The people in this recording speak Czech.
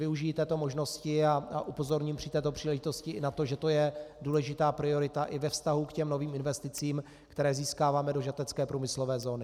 Využiji této možnosti a upozorním při této příležitosti i na to, že to je důležitá priorita i ve vztahu k těm novým investicím, které získáváme do žatecké průmyslové zóny.